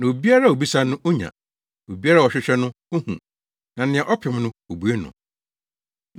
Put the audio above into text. Na obiara a obisa no, onya. Obiara a ɔhwehwɛ no, ohu; na nea ɔpem no, wobue no.